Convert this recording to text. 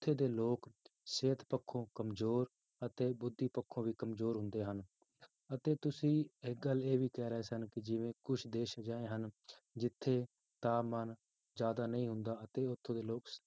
ਉੱਥੇ ਦੇ ਲੋਕ ਸਿਹਤ ਪੱਖੋਂ ਕੰਮਜ਼ੋਰ ਅਤੇ ਬੁੱਧੀ ਪੱਖੋਂ ਵੀ ਕੰਮਜ਼ੋਰ ਹੁੰਦੇ ਹਨ, ਅਤੇ ਤੁਸੀਂ ਇੱਕ ਗੱਲ ਇਹ ਵੀ ਕਹਿ ਰਹੇ ਸਨ ਕਿ ਜਿਵੇਂ ਕੁਛ ਦੇਸ ਅਜਿਹੇ ਹਨ, ਜਿੱਥੇ ਤਾਪਮਾਨ ਜ਼ਿਆਦਾ ਨਹੀਂ ਹੁੰਦਾ ਅਤੇ ਉੱਥੋਂ ਦੇ ਲੋਕ